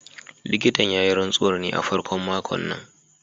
Likitan ya yi rantsuwar ne a farkon makon nan